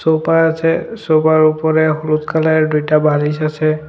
Sofa আছে সোফার উপরে হলুদ কালারের দুইটা বালিশ আছে।